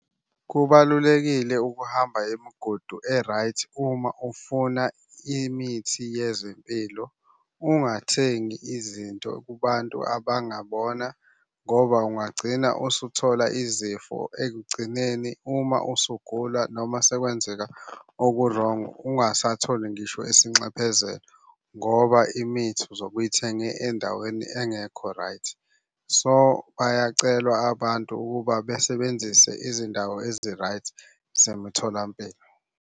Kubalulekile ukuhamba imigudu e-right uma ufuna imithi yezempilo. Ungathengi izinto kubantu abangabona ngoba ungagcina usuthola izifo ekugcineni. Uma usugula noma sekwenzeka oku-wrong, ungasatholi ngisho isinxephezelo, ngoba imithi uzobe uyithenge endaweni engekho right. So, bayacelwa abantu ukuba besebenzise izindawo ezi-right zemtholampilo.